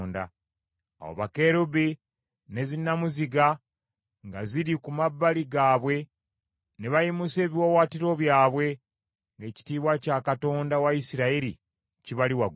Awo bakerubi, ne zinnamuziga nga ziri ku mabbali gaabwe ne bayimusa ebiwaawaatiro byabwe, ng’ekitiibwa kya Katonda wa Isirayiri kibali waggulu.